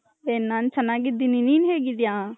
ಹೇ ನನ್ ಚೆನ್ನಾಗಿದ್ದೀನಿ ನಿನ್ ಹೇಗಿದ್ದೀಯ ?